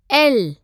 L